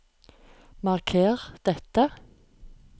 Marker dette